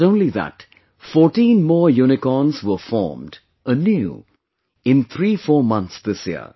Not only that, 14 more Unicorns were formed anew in 34 months this year